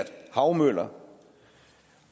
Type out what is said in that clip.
havvindmøller og